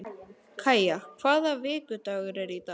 Kaja, hvaða vikudagur er í dag?